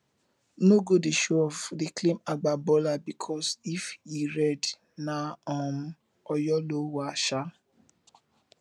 no go dey showoff dey claim agba baller bikos if e red na um oyo um